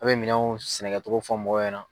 A bɛ minɛnw sɛnɛkɛcogo fɔ mɔgɔw ɲɛna.